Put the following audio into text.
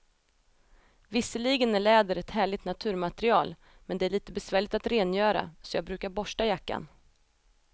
Visserligen är läder ett härligt naturmaterial, men det är lite besvärligt att rengöra, så jag brukar borsta jackan.